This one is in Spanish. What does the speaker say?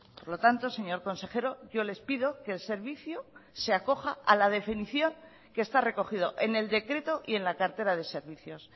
por lo tanto señor consejero yo les pido que el servicio se acoja a la definición que está recogido en el decreto y en la cartera de servicios